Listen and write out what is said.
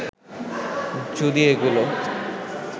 যদি এগুলো